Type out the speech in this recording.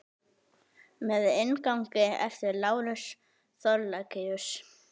Með inngangi eftir Lárus Thorlacius.